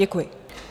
Děkuji.